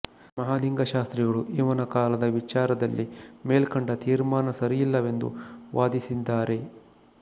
ಮಹಲಿಂಗಶಾಸ್ತ್ರಿಗಳು ಇವನ ಕಾಲದ ವಿಚಾರದಲ್ಲಿ ಮೇಲ್ಕಂಡ ತೀರ್ಮಾನ ಸರಿಯಲ್ಲವೆಂದು ವಾದಿಸಿದ್ದಾರೆ